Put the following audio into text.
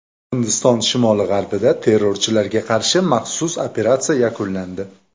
Hindiston shimoli-g‘arbida terrorchilarga qarshi maxsus operatsiya yakunlandi.